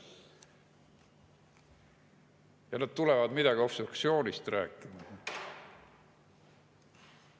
Ja nad tulevad midagi obstruktsioonist rääkima.